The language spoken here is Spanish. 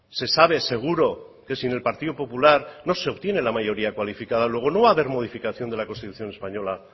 se sabe seguro que sin el partido popular no se obtiene la mayoría cualificada luego no va a haber modificación de la constitución española